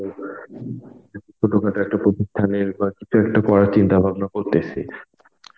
ছোটোখাটো একটা প্রতিষ্ঠানের বা কিছু একটা করার চিন্তা ভাবনা করতেছি.